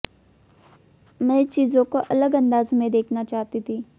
मैं चीजों को अलग अंदाज़ में देखना चाहती थी